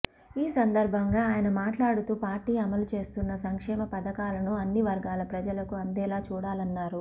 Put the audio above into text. ఈ సందర్భంగా అయన మాట్లాడుతూ పార్టీ అమలు చేస్తున్నా సంక్షేమ పథకాలను అన్ని వర్గాల ప్రజలకు అందేలా చూడాల న్నారు